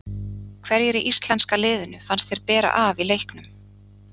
Hverjir í íslenska liðinu fannst þér bera af í leiknum?